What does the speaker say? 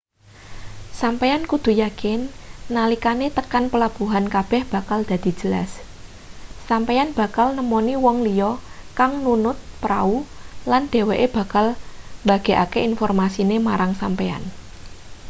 sampeyan kudu yakin nalikane tekan pelabuhan kabeh bakal dadi jelas sampeyan bakal nemoni wong liya kang nunut prau lan dheweke bakal mbagekake informasine marang sampeyan